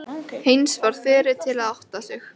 Heinz varð fyrri til að átta sig.